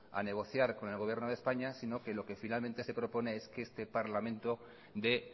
a negociar con el gobierno de españa sino que lo que finalmente se propone es que este parlamento dé